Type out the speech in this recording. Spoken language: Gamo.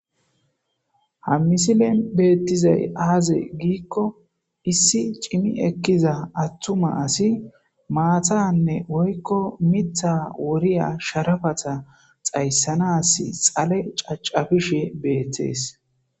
Ha misilen beettizay aaze giikko issi cimi ekkiza attuma asi maathanne woykko mitha woriya sharafata xayssanas xale caccafishe beettees.